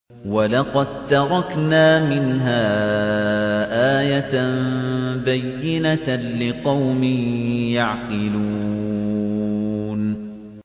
وَلَقَد تَّرَكْنَا مِنْهَا آيَةً بَيِّنَةً لِّقَوْمٍ يَعْقِلُونَ